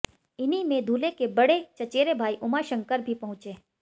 इन्हीं में दूल्हे के बड़े चचेरे भाई उमा शंकर भी पहुंचे